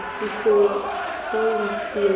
ṱho ḓisiso ya saintsi ya